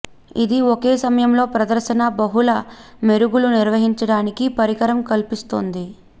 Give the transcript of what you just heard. ఇది ఒకే సమయంలో ప్రదర్శన బహుళ మెరుగులు నిర్వహించడానికి పరికరం కల్పిస్తుంది